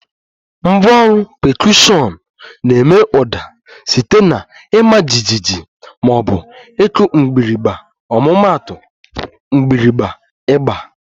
Ngwá ọrụ pekọshiọn na-eme ụda site na ịma jijiji ma ọ bụ ịkụ mgbịrịgba ọmụmaatu, mgbirigba, ịgba